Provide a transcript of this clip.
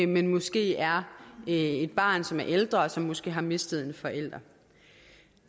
men måske er et barn som er ældre og som måske har mistet en forælder